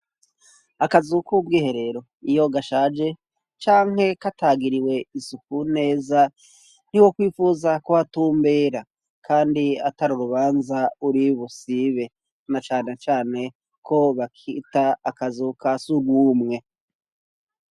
akazu kubw' iherero iyo gashaje canke katagiriwe isuku neza ntiwo kwifuza kuhatumbera kandi atari urubanza uri busibe na cane cane ko bakita akazu ka sugumwe